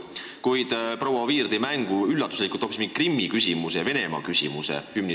Kuid proua Oviir tõi hümniseaduse kontekstis üllatuslikult mängu hoopis mingi Krimmi- ja Venemaa-küsimuse.